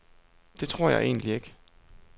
Det tror jeg egentlig ikke.